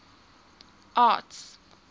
arts